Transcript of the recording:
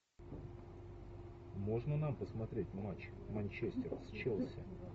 можно нам посмотреть матч манчестер с челси